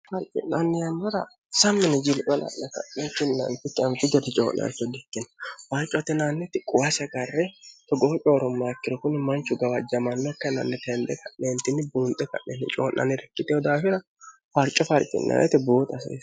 harci'nanniyannara sa'mini jiilwala'ne ka'neetinnaani fitanfi gate coo'learcho di ikkenna waarco atinaanniti quwasi garre togoho coorommaakkiro kuni manchu gawajjamanno kennanni teende ka'neentinni buunxe ka'neenni coo'nanni rikkitehu daafira warco faarci'naanete buuxa asee